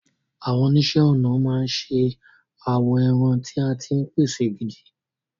Àwọn oníṣẹ́ ọnà máa ń ṣe awọ ẹran tí a ti pèsè gidi.